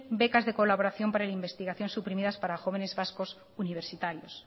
becas de colaboración para la investigación suprimidas para jóvenes vascos universitarios